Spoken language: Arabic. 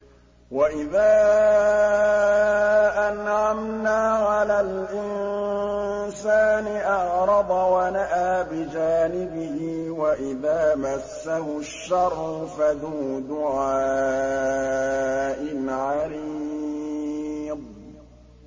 وَإِذَا أَنْعَمْنَا عَلَى الْإِنسَانِ أَعْرَضَ وَنَأَىٰ بِجَانِبِهِ وَإِذَا مَسَّهُ الشَّرُّ فَذُو دُعَاءٍ عَرِيضٍ